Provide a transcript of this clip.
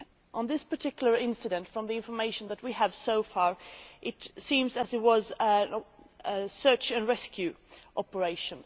On this particular incident, from the information that we have so far, it seems that it was a search and rescue operation.